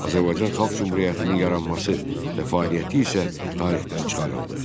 Azərbaycan Xalq Cümhuriyyətinin yaranması və fəaliyyəti isə tarixdən çıxarıldı.